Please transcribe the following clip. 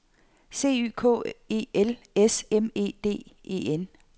C Y K E L S M E D E N